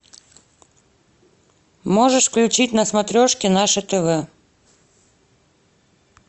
можешь включить на смотрешке наше тв